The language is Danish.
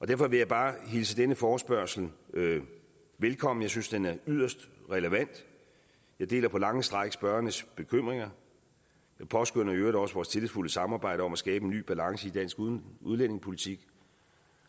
derfor vil jeg bare hilse denne forespørgsel velkommen jeg synes den er yderst relevant jeg deler på lange stræk spørgernes bekymringer jeg påskønner i øvrigt også vores tillidsfulde samarbejde om at skabe en ny balance i dansk udlændingepolitik